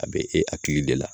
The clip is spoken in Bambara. A be e a akili de la